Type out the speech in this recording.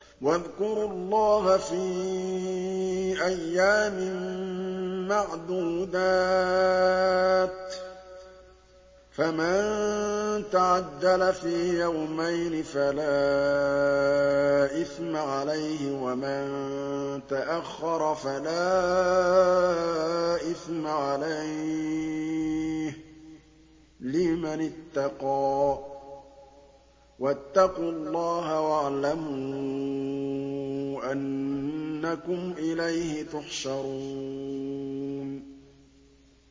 ۞ وَاذْكُرُوا اللَّهَ فِي أَيَّامٍ مَّعْدُودَاتٍ ۚ فَمَن تَعَجَّلَ فِي يَوْمَيْنِ فَلَا إِثْمَ عَلَيْهِ وَمَن تَأَخَّرَ فَلَا إِثْمَ عَلَيْهِ ۚ لِمَنِ اتَّقَىٰ ۗ وَاتَّقُوا اللَّهَ وَاعْلَمُوا أَنَّكُمْ إِلَيْهِ تُحْشَرُونَ